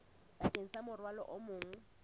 bakeng sa morwalo o mong